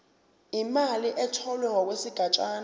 imali etholwe ngokwesigatshana